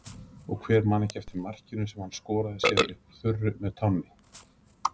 Og hver man ekki eftir markinu sem hann skoraði síðan upp úr þurru með tánni?